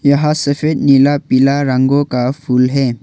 यहां सफेद नीला पीला रंगों का फूल है।